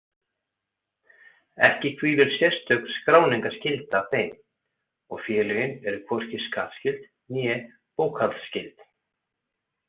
Ekki hvílir sérstök skráningarskylda á þeim og félögin eru hvorki skattskyld né bókhaldsskyld.